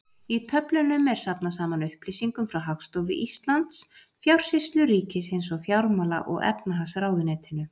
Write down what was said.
Í töflunum er safnað saman upplýsingum frá Hagstofu Íslands, Fjársýslu ríkisins og Fjármála- og efnahagsráðuneytinu.